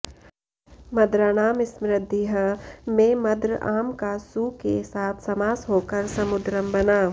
मद्राणां समृद्धिः में मद्र आम् का सु के साथ समास होकर सुमद्रम् बना